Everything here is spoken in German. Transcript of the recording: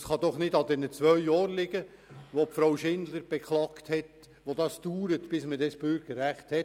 Es kann nicht an der Dauer dieser zwei Jahre liegen, welche Grossrätin Schindler beklagt hat, bis man das Bürgerrecht hat.